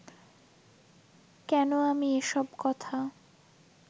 কেন আমি এসব কথা